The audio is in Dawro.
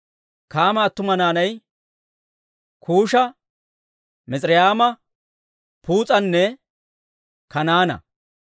Kaama attuma naanay Kuusha, Mis'irayma, Puus'anne Kanaana.